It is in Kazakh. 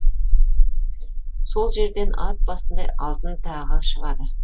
сол жерден ат басындай алтын тағы шығады